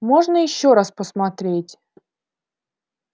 можно ещё раз посмотреть